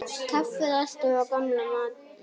Kaffið alltaf á gamla mátann.